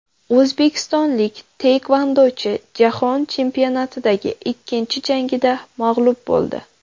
O‘zbekistonlik taekvondochi Jahon chempionatidagi ikkinchi jangida mag‘lub bo‘ldi.